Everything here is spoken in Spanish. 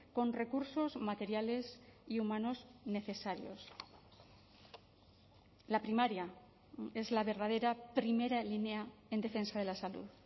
con recursos materiales y humanos necesarios la primaria es la verdadera primera línea en defensa de la salud